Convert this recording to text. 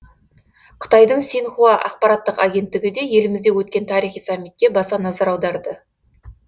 қытайдың синьхуа ақпараттық агенттігі де елімізде өткен тарихи саммитке баса назар аударды